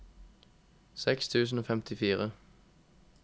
seks tusen og femtifire